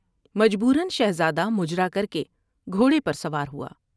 مجبورا شہزادہ مجرا کر کے گھوڑے پر سوار ہوا ۔